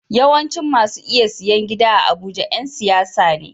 Yawancin masu iya siyan gida a abuja Yan siyasa ne